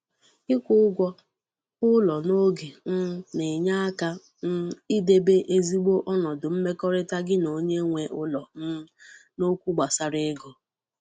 Ịkwu ụgwọ ụlọ n'oge um na-enye aka um idebe ezigbo onodu mmekọrịta gi na onye nwe ụlọ um n'okwu gbasara ego